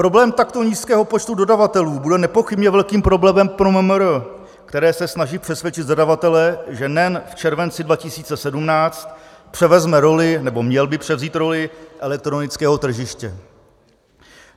Problém takto nízkého počtu dodavatelů bude nepochybně velkým problémem pro MMR, které se snaží přesvědčit zadavatele, že NEN v červenci 2017 převezme roli, nebo měl by převzít roli, elektronického tržiště.